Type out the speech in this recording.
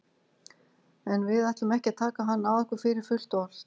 En við ætlum ekki að taka hann að okkur fyrir fullt og allt.